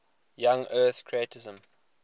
young earth creationism